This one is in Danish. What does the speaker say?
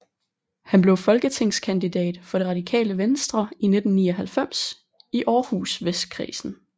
Han blev folketingskandidat for det Radikale Venstre i 1999 i Århus Vestkredsen